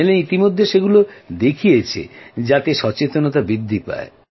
চ্যানেলে ইতিমধ্যে সেগুলো দেখিয়েছে যাতে সচেতনতা বৃদ্ধি হয়